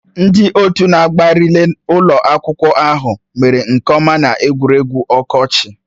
Ndị otu na-agba rịlẹ́ ụlọ akwụkwọ ahụ mere nke ọma n'egwuregwu ọkọchị